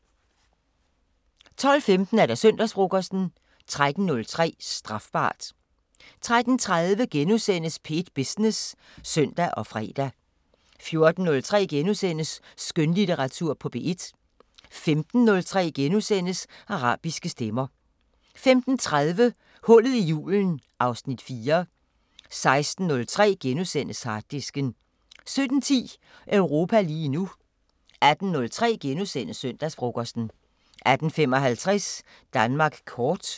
12:15: Søndagsfrokosten 13:03: Strafbart 13:30: P1 Business *(søn og fre) 14:03: Skønlitteratur på P1 * 15:03: Arabiske Stemmer * 15:30: Hullet i julen (Afs. 4) 16:03: Harddisken * 17:10: Europa lige nu 18:03: Søndagsfrokosten * 18:55: Danmark kort